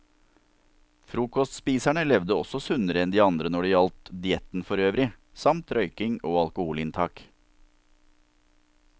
Frokostspiserne levde også sunnere enn de andre når det gjaldt dietten forøvrig, samt røyking og alkoholinntak.